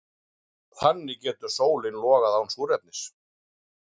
Þannig getur sólin logað án súrefnis.